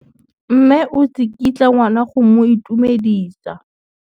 Mme o tsikitla ngwana go mo itumedisa.